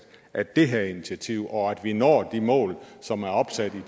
af det her initiativ og at vi når de mål som er opsat i